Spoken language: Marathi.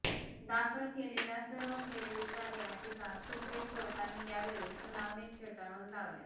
दाखल केलेल्या सर्व फेरविचार याचिका सुप्रीम कोर्टाने यावेळी सुनावणीत फेटाळून लावल्या